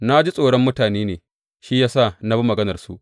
Na ji tsoron mutane ne shi ya sa na bi maganarsu.